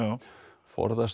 forðast